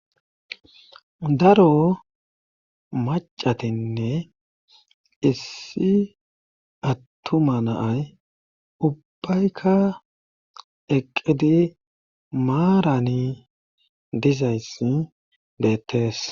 daro macatinne issi attuma na'ay ubbaykka eqqidi maarani dizayssa beettees